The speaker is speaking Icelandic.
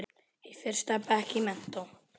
Í fyrsta bekk í menntó.